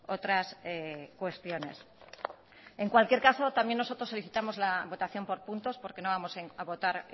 otras cuestiones en cualquier caso también nosotros solicitamos la votación por puntos porque no vamos a votar